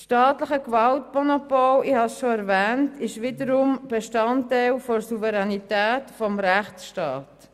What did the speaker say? Das staatliche Gewaltmonopol ist wiederum Bestandteil der Souveränität des Rechtsstaats.